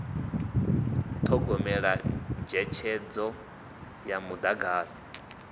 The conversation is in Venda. u thogomela netshedzo ya mudagasi